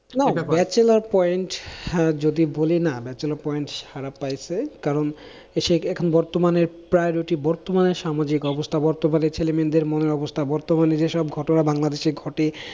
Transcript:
bachelor point যদি বলি না bachelor point সারা পাইছে, তার কারণ সে এখন বর্তমানে priority বর্তমানে সামাজিক অবস্থা বর্তমানে ছেলেমেয়েদের মনের অবস্থা, বর্তমানে যেসব ঘটনা বাংলাদেশে ঘটে